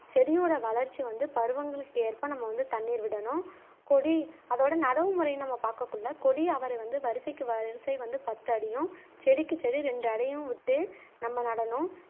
செடியோட வளர்ச்சி வந்து பருவங்களுக்கு ஏற்ப நம்ம வந்து தண்ணீர் விடணும் கொடி அதோட நடவுமுறைனு நம்ம பாக்ககுள்ள கொடி அவரை வந்து வரிசைக்கு வரிசை வந்து பத்து அடியும் செடிக்கு செடி ரெண்டு அடியும் விட்டு நம்ம நடனும்